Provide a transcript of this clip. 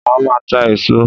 Màá máa ta èso